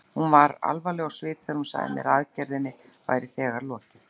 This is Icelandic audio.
Hún var alvarleg á svip þegar hún sagði mér að aðgerðinni væri þegar lokið.